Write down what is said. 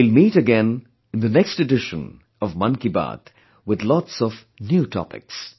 We will meet again in the next edition of Mann Ki Baat with lots of new topics